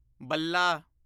ਬੱਲਾ